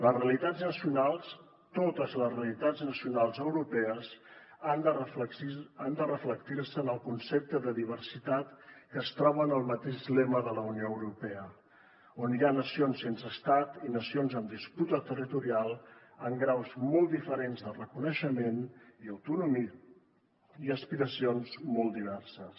les realitats nacionals totes les realitats nacionals europees han de reflectir se en el concepte de diversitat que es troba en el mateix lema de la unió europea on hi ha nacions sense estat i nacions amb disputa territorial en graus molt diferents de reconeixement i autonomia i aspiracions molt diverses